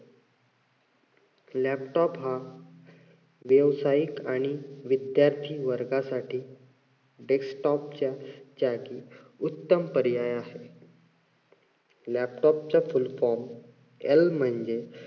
laptop हा व्यावसायिक आणि विद्यार्थी वर्गासाठी desktop च्या जागी उत्तम पर्याय असतो. laptop चा full form L म्हणजे